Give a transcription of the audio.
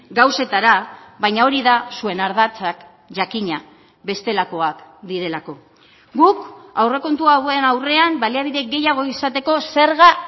gauzetara baina hori da zuen ardatzak jakina bestelakoak direlako guk aurrekontu hauen aurrean baliabide gehiago izateko zerga